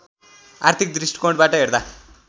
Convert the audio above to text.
आर्थिक दृष्टिकोणबाट हेर्दा